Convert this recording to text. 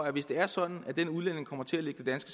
at hvis det er sådan at den udlænding kommer til at ligge det